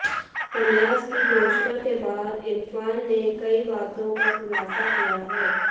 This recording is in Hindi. संन्यास की घोषणा के बाद इरफान ने कई बातों का खुलासा किया है